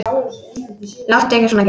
Láttu ekki svona Gerður.